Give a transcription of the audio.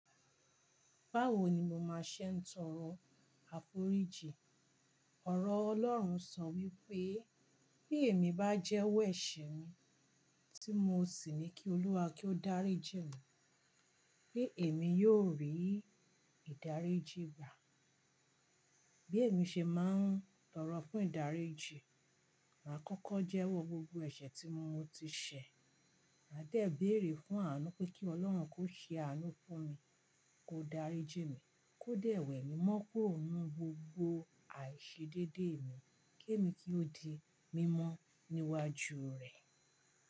Báwo ni mo máa ṣe ń tọrọ àforíjì? Ọ̀rọ̀ Ọlọ́run sọ wípé bí èmi bá jẹ́wọ́ ẹ̀ṣẹ̀ mi tí mo sì ní kí Olúwa kí ó dáríjì mí, pe èmi yóò rí ìdáríjì gbà. Bí èmi ṣe máa ń tọrọ fún ìdáríjì, màá kọ́kọ́ jẹ́wọ́ gbogbo ẹ̀ṣẹ̀ tí mo ti ṣẹ̀. Màá dẹ̀ béèrè fún àánú pé kí Ọlọ́run kó ṣe àánú fún mi, kó dáríjì mí, kó dẹ̀ wẹ mi mọ́ kúrò nínú gbogbo àìṣedédé mi, kémi kí ó di mímọ́ níwájú rẹ̀.